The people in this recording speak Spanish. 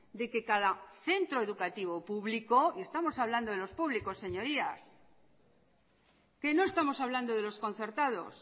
de que cada centro educativo público y estamos hablando de los públicos señorías que no estamos hablando de los concertados